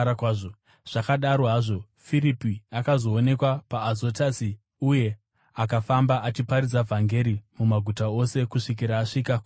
Zvakadaro hazvo, Firipi akazoonekwa paAzotasi uye akafamba achiparidza vhangeri mumaguta ose kusvikira asvika kuKesaria.